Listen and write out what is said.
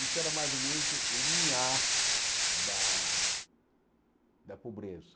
Isso era mais ou menos o o limiar da da pobreza.